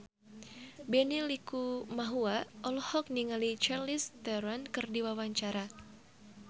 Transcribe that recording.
Benny Likumahua olohok ningali Charlize Theron keur diwawancara